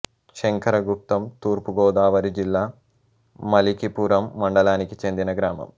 శంకరగుప్తం తూర్పు గోదావరి జిల్లా మలికిపురం మండలానికి చెందిన గ్రామం